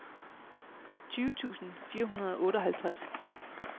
tyve tusind fire hundrede og otteoghalvtreds